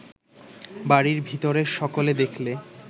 বাড়ির ভিতরের সকলে দেখলে